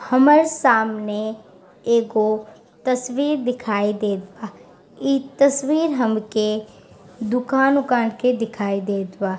हमर सामने एगो तस्वीर दिखाई देत बा इ तस्वीर हमके दुकान-उकान के दिखाई देत बा ।